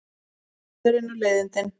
Völlurinn og leiðindin.